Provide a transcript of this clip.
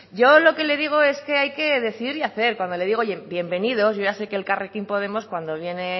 yo lo que le digo es que hay que decidir y hacer y cuando le digo yo bienvenidos yo ya sé que elkarrekin podemos cuando viene